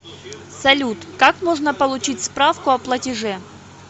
салют как можно получить справку о платеже